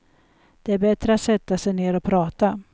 Det är bättre att sätta sig ner och prata.